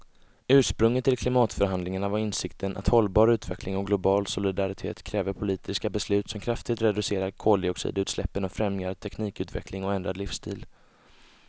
Ursprunget till klimatförhandlingarna var insikten att hållbar utveckling och global solidaritet kräver politiska beslut som kraftigt reducerar koldioxidutsläppen och främjar teknikutveckling och ändrad livsstil.